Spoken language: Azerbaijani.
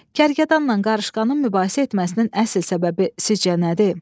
Kərgədanla qarışqanın mübahisə etməsinin əsl səbəbi sizcə nədir?